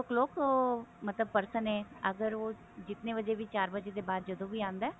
four o clock ਮਤਲਬ person ਹੈ ਅਗਰ ਉਹ ਜਿਤਨੇ ਵਜੇ ਵੀ ਚਾਰ ਵਜੇ ਦੇ ਬਾਅਦ ਜਦੋਂ ਵੀ ਆਉਂਦਾ